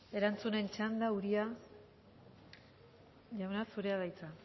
erantzuten txanda uria jauna zurea da hitza